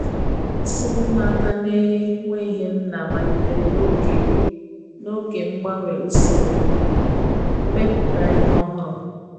nsogbu ụmụaka na nweghi nna malitere n'oge n'oge mgbanwe ụsoro mmeputa ihe ọhuru